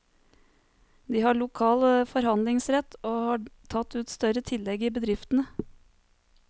De har lokal forhandlingsrett, og har tatt ut større tillegg i bedriftene.